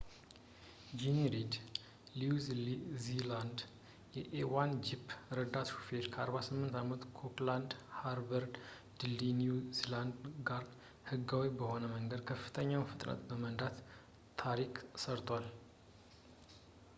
ጆኒ ሪድ፣ ለኒው ዚላንድ የa1gp ረዳት ሹፌር፣ ከ 48 አመቱ ኦክላድ ሃርበር ድልድይ፣ ኒው ዚላንድ ላይ ህጋዊ በሆነ መንገድ በከፍተኛው ፍጥነት በመንዳት ታሪክን ሰርቷል